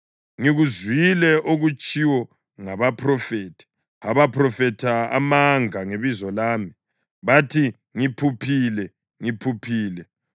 “Ngikuzwile okutshiwo ngabaphrofethi abaphrofetha amanga ngebizo lami. Bathi, ‘Ngiphuphile! Ngiphuphile!’